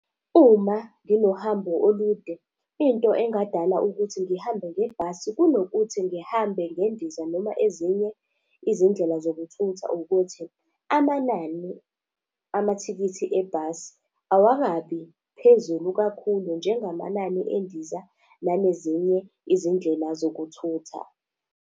Uma nginohambo olude, into engadala ukuthi ngihambe ngebhasi kunokuthi ngihambe ngendiza, noma ezinye izindlela zokuthutha ukuthi, amanani amathikithi ebhasi awakabi phezulu kakhulu njengamanani endiza nanezinye izindlela zokuthutha.